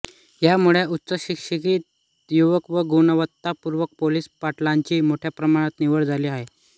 यामुळे उच्चशिक्षित युवक व गुणवत्तापूर्ण पोलीस पाटलांची मोठ्या प्रमाणात निवड झाली आहे